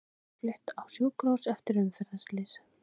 Kona flutt á sjúkrahús eftir umferðarslys